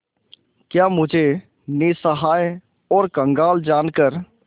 क्या मुझे निस्सहाय और कंगाल जानकर